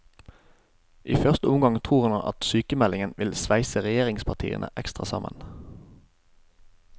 I første omgang tror han at sykemeldingen vil sveise regjeringspartiene ekstra sammen.